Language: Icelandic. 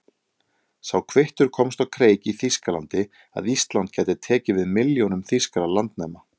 Sá kvittur komst á kreik í Þýskalandi, að Ísland gæti tekið við milljónum þýskra landnema.